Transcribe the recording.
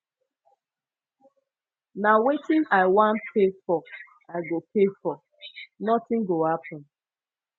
na wetin i wan pay for i go pay for nothing go happen